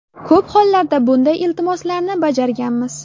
Ko‘p hollarda bunday iltimoslarni bajarganmiz.